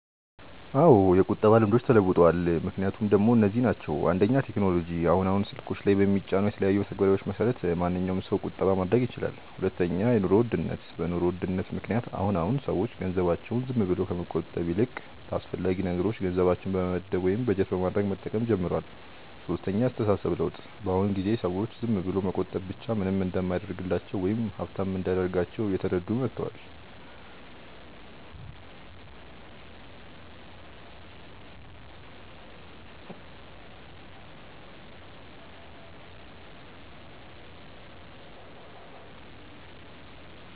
አዎ የቁጠባ ልምዶች ተለውጠዋል። ምክንያቶቹ ደሞ እነዚህ ናቸው፦ 1. ቴክኖሎጂ፦ አሁን አሁን ስልኮች ላይ በሚጫኑ የተለያዩ መተግበሪያዎች መሰረት ማንኛዉም ሰው ቁጠባ ማድረግ ይችላል 2. የኑሮ ውድነት፦ በ ኑሮ ውድነት ምክንያት አሁን አሁን ሰዎች ገንዘባቸውን ዝም ብለው ከመቆጠብ ይልቅ ለአስፈላጊ ነገሮች ገንዘባቸውን በመመደብ ወይም በጀት በማድረግ መጠቀም ጀምረዋል 3. የ አስተሳሰብ ለውጥ፦ በ አሁን ጊዜ ሰዎች ዝም ብሎ መቆጠብ ብቻ ምንም እንደማያደርግላቸው ወይም ሃብታም እንደማያደርጋቸው እየተረዱ መተዋል